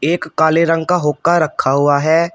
एक काले रंग का हुक्का रखा हुआ है।